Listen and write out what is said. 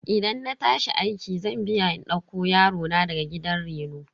Idan na tashi aiki zan biya in dauko yarona daga gidan reno.